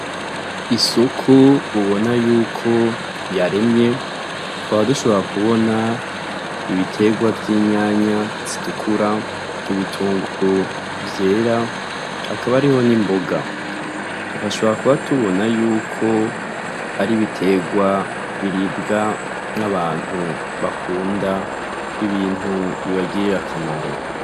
Isoko ubonako yuko yaremye tukaba dushobora kubona ibitegwa vy'inyanya zitukura n'ibitunguru vyera hakaba hariho n'imboga, tugashobora kuba tubona yuko ar'ibitegwa biribwa n'abantu bakunda ibintu bibagirira akamaro.